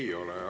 Ei ole.